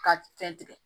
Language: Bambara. Ka fɛn tigɛ